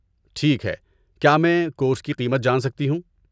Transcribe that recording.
ٹھیک ہے! کیا میں کورس کی قیمت جان سکتی ہوں؟